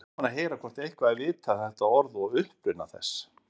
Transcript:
Væri gaman að heyra hvort eitthvað er vitað um þetta orð og uppruna þess.